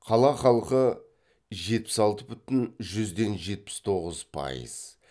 қала халқы жетпіс алты бүтін жүзден жетпіс тоғыз пайыз